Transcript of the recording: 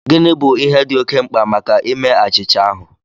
Gịnị bụ ihe dị oké mkpa maka ime achịcha ahụ?